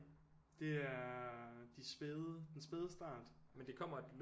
Det er de spæde den spæde start